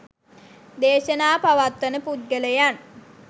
දේශනා පවත්වන පුද්ගලයන්